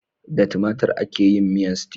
Da tomatir ake yin miyan stew.